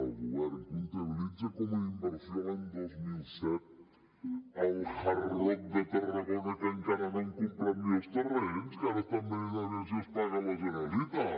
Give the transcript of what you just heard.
el govern comptabilitza com a inversió l’any dos mil disset rock de tarragona que encara no han comprat ni els terrenys que ara estan veient a veure si els paga la generalitat